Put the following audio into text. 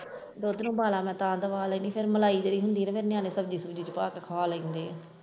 ਦੁੱਧ ਨੂੰ ਉਬਾਲਾ ਮੈਂ ਤਾਂ ਦਵਾਉਣ ਲੱਗੀ ਫਿਰ ਮਲਾਈ ਜਿਹੜੀ ਹੁੰਦੀ ਨਿਆਣੇ ਸਬਜੀ ਸੁਬਜੀ ਵਿੱਚ ਪਾ ਕੇ ਖਾ ਲੈਂਦੇ ਹੈ।